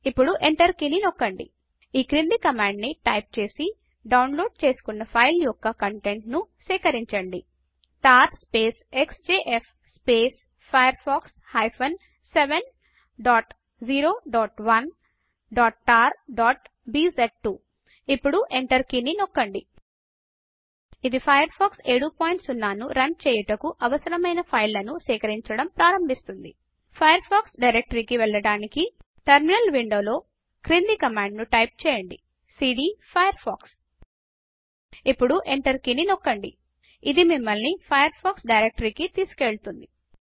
ఇప్పుడు ఎంటర్ కిని నొక్కండి ఈ కింది కమాండ్ ని టైపు చేసి డౌన్లోడ్ చేసుకొన్నా ఫైల్ యొక్క కంటెంట్లను సేకరించండి tar space x j f space Firefox hyphen 701tarబిజ్2 ఇప్పుడు ఎంటర్ కీని నొక్కండి ఇది ఫయర్ ఫాక్స్ 70 ను రన్ చేయుటకు అవసరమైన ఫైళ్ళను సేకరించడం ప్రారంభిస్తుంది ఫయర్ ఫాక్స్ డైరెక్టరీ కి వెళ్ళడానికి టెర్మినల్ విండో లో క్రింది కమాండ్ ను టైప్ చేయండి సీడీ ఫైర్ఫాక్స్ ఇప్పుడు ఎంటర్ కీని నొక్కండి ఇది మిమల్ని ఫయర్ ఫాక్స్ డైరెక్టరీ కి తీసుకెళుతుంది